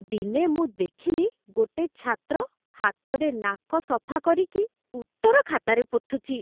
ଦିନେ ମୁଁ ଦେଖିଲି ଗୋଟେ ଛାତ୍ର ହାତରେ ନାକ ସଫା କରିକି ଉତ୍ତର ଖାତାରେ ପୋଛୁଛି ।